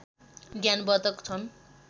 ज्ञान वर्धक छन्